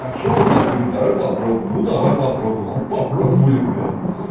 а что вот так беру давай попробуем ну давай попробуем хули попробовали блять